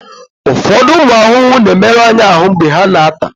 ụfọdụ ụmụ ahụhụ na-emerụ anyị ahụ mgbe ha na-ata